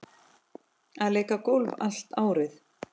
Að leika golf allt árið.